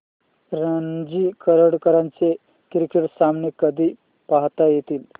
रणजी करंडक चे क्रिकेट सामने कधी पाहता येतील